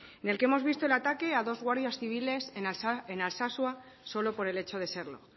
en el que hemos visto el ataque a dos guardias civiles en alsasua solo por el hecho de serlo